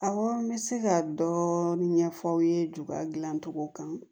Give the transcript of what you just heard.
Awɔ n bɛ se ka dɔɔnin ɲɛfɔ aw ye joya dilancogo kan